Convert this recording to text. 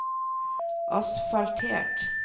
asfaltert